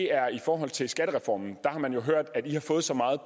er i forhold til skattereformen der har man jo hørt at i har fået så meget